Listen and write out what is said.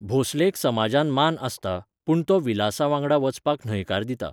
भोंसलेक समाजांत मान आसता, पूण तो विलासावांगडा वचपाक न्हयकार दिता.